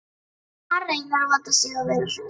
Hann reynir að vanda sig og vera hress.